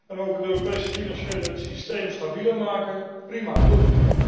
En ook het Europese financiële systeem stabieler maken, prima, doen.